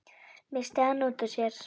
missti hann út úr sér.